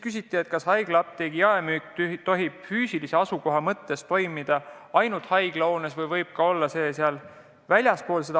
Küsiti, kas haiglaapteegi jaemüük tohiks toimuda ainult haiglahoones või võib see toimuda ka sellest väljaspool.